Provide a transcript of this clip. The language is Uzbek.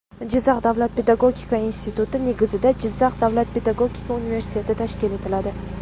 Jizzax davlat pedagogika instituti negizida Jizzax davlat pedagogika universiteti tashkil etiladi.